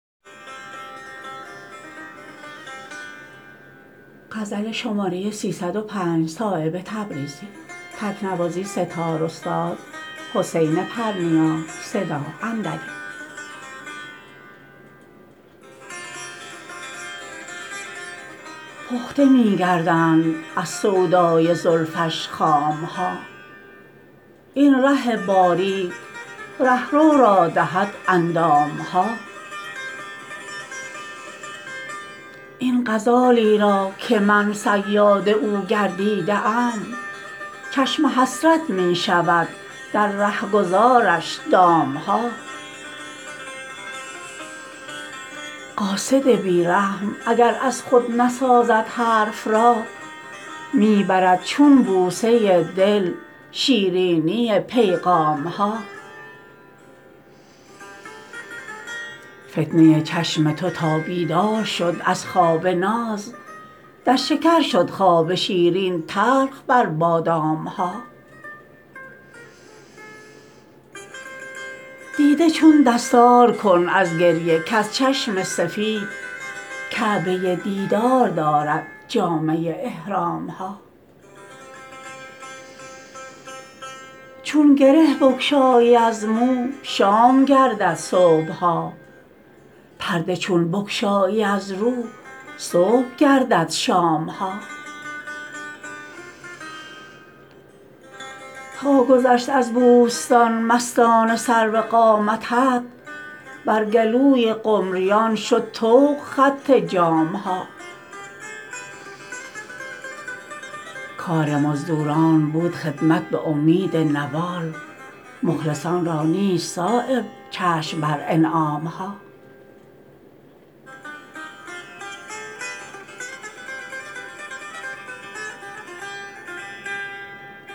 پخته می گردند از سودای زلفش خام ها این ره باریک رهرو را دهد اندام ها این غزالی را که من صیاد او گردیده ام چشم حسرت می شود در رهگذارش دام ها قاصد بی رحم اگر از خود نسازد حرف را می برد چون بوسه دل شیرینی پیغام ها فتنه چشم تو تا بیدار شد از خواب ناز در شکر شد خواب شیرین تلخ بر بادام ها دیده چون دستار کن از گریه کز چشم سفید کعبه دیدار دارد جامه احرام ها چون گره بگشایی از مو شام گردد صبح ها پرده چون بگشایی از رو صبح گردد شام ها تا گذشت از بوستان مستانه سرو قامتت بر گلوی قمریان شد طوق خط جام ها کار مزدوران بود خدمت به امید نوال مخلصان را نیست صایب چشم بر انعام ها